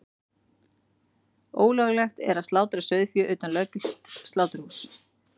Ólöglegt er að slátra sauðfé utan löggilts sláturhúss.